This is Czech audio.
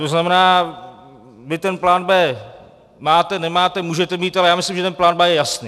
To znamená, vy ten plán B máte, nemáte, můžete mít, ale já myslím, že ten plán B je jasný.